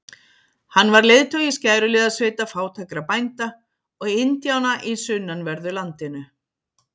Hann var leiðtogi skæruliðasveita fátækra bænda og indjána í sunnanverðu landinu.